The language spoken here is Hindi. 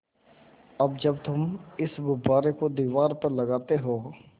अब जब तुम इस गुब्बारे को दीवार पर लगाते हो